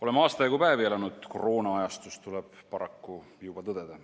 Oleme aasta jagu päevi elanud koroonaajastus, tuleb paraku juba tõdeda.